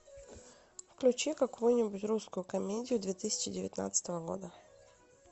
включи какую нибудь русскую комедию две тысячи девятнадцатого года